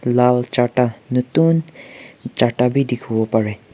lal charta nutun charta wi dikhiwo pareh.